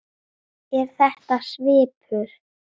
Er þetta svipuð